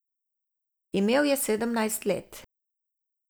Imel je sedemnajst let.